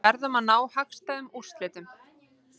Verðum að ná hagstæðum úrslitum